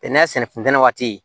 Bɛnɛ sɛnɛ fen